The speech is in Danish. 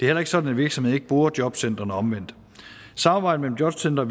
heller ikke sådan at virksomheder ikke bruger jobcentrene eller omvendt samarbejde mellem jobcentre